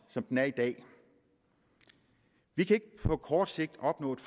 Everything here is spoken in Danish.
som den er i dag vi kan ikke på kort sigt opnå et